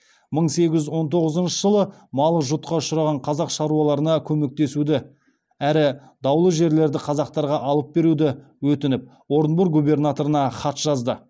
мың сегіз жүз он тоғызыншы малы жұтқа ұшыраған қазақ шаруаларына көмектесуді әрі даулы жерлерді қазақтарға алып беруді өтініп орынбор губернаторына хат жазды